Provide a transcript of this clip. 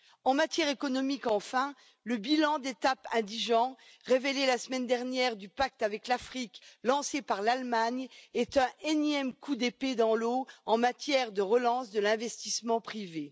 Enfin, sur le plan économique, le bilan d'étape indigent, révélé la semaine dernière, du pacte avec l'Afrique, lancé par l'Allemagne, est un énième coup d'épée dans l'eau en matière de relance de l'investissement privé.